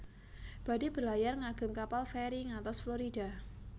Badhe berlayar ngagem kapal feri ngantos Florida